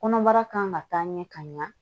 Kɔnɔbara kan ka taa ɲɛ ka ɲa